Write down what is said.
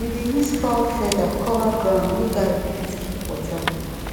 we dey use fowl feather cover ground make garlic fit keep water